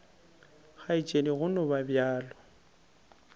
kgaetšedi go no ba bjalo